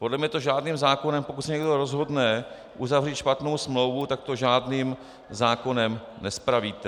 Podle mě to žádným zákonem, pokud se někdo rozhodne uzavřít špatnou smlouvu, tak to žádným zákonem nespravíte.